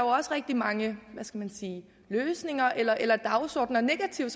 også rigtig mange hvad skal man sige løsninger eller dagsordener negative